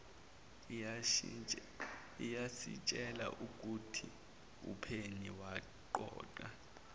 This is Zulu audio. iyasitshela ukuthiumphenyi waqoqa